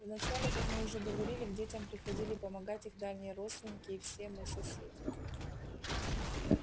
вначале как мы уже говорили к детям приходили помогать их дальние родственники и все мы соседи